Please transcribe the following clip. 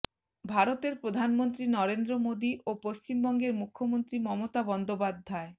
ভারতের প্রধানমন্ত্রী নরেন্দ্র মোদী ও পশ্চিমবঙ্গের মুখ্যমন্ত্রী মমতা বন্দ্যোপাধ্যায়